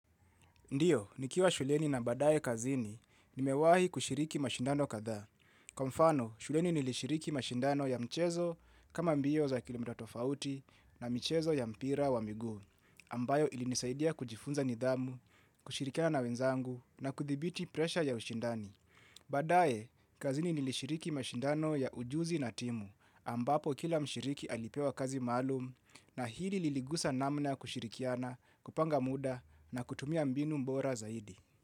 Ndiyo, nikiwa shuleni na badaye kazini, nimewahi kushiriki mashindano kadhaa. Kwa mfano, shuleni nilishiriki mashindano ya mchezo kama mbio za kilimdatofauti na mchezo ya mpira wa miguu. Ambayo ilinisaidia kujifunza nidhamu, kushirikia na wenzangu na kuthibiti presha ya ushindani. Baadaye, kazini nilishiriki mashindano ya ujuzi na timu, ambapo kila mshiriki alipewa kazi maalum na hili liligusa namna kushirikiana, kupanga muda na kutumia mbinu bora zaidi.